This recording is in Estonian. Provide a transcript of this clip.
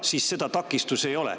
Siis seda takistust ei ole.